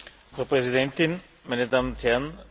Frau Präsidentin, meine Damen und Herren!